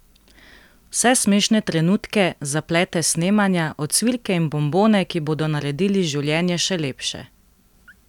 Vse smešne trenutke, zaplete s snemanja, ocvirke in bonbone, ki bodo naredili življenje še lepše!